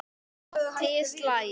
Níu slagir.